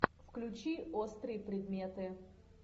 включи острые предметы